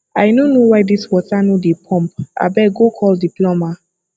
i no know why dis water no dey pump abeg go call the plumber